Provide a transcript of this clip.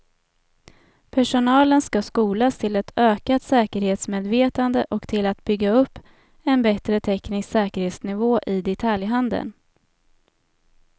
Personalen skall skolas till ett ökat säkerhetsmedvetande och till att bygga upp en bättre teknisk säkerhetsnivå i detaljhandeln.